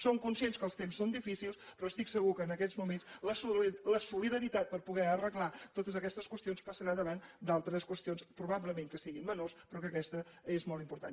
som conscients que els temps són difícils però estic segura que en aquests moments la solidaritat per poder arreglar totes aquestes qüestions passarà a davant d’altres qüestions que probablement siguin menors però que aquesta és molt important